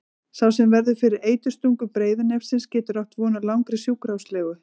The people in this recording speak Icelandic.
Sá sem verður fyrir eiturstungu breiðnefsins getur átt von á langri sjúkrahúslegu.